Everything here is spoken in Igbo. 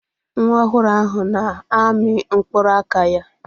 Nwa ohuru ahu na-amị mkpụrụ aka ya.